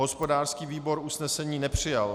Hospodářský výbor usnesení nepřijal.